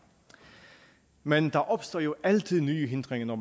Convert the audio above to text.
men der opstår jo altid nye hindringer når